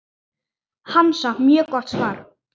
Hansa: Mjög gott svar.